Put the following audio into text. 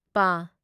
ꯄ